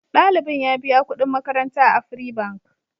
Ɗalibin ya biya kuɗin makaranta a Afri Bank.